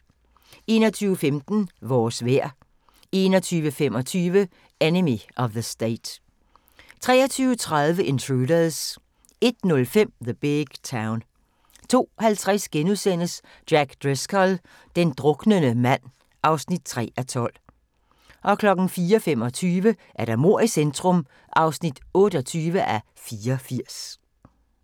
21:15: Vores vejr 21:25: Enemy of the State 23:30: Intruders 01:05: The Big Town 02:50: Jack Driscoll – den druknende mand (3:12)* 04:25: Mord i centrum (28:84)